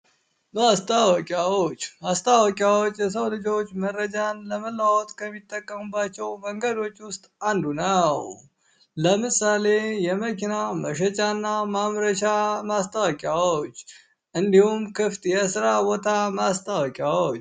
ማስታወቂያዎች ማስታወቂያዎች የሰው ልጆች መረጃን ለመለዋወጥ ከሚጠቀሙባቸው መንገዶች ውስጥ አንዱ ነው። ለምሳሌ የመኪና መሸጫ እና ማምረቻ ማስታወቂያዎች እንዲሁም ክፍት የስራቦታ ማስታወቂያዎች።